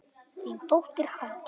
Þín dóttir, Hafdís.